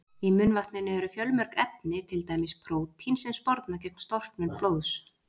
Í munnvatninu eru fjölmörg efni, til dæmis prótín sem sporna gegn storknun blóðs.